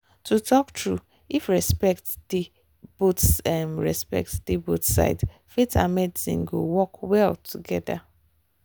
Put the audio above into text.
to talk true if respect dey both respect dey both sides faith and medicine go work well together.